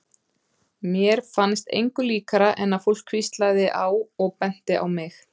Mér fannst engu líkara en að fólk hvíslaðist á og benti á mig.